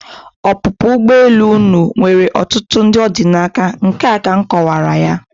Ọpụpụ ụgbọelu unu nwere ọtụtụ ndị ọ dị n'aka, nke a ka m kọwara ya.